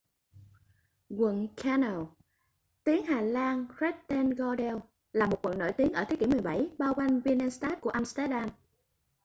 quận canal tiếng hà lan: grachtengordel là một quận nổi tiếng ở thế kỷ 17 bao quanh binnenstad của am-xtéc-đam